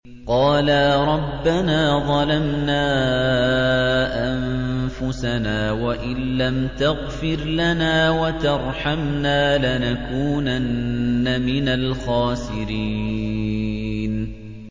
قَالَا رَبَّنَا ظَلَمْنَا أَنفُسَنَا وَإِن لَّمْ تَغْفِرْ لَنَا وَتَرْحَمْنَا لَنَكُونَنَّ مِنَ الْخَاسِرِينَ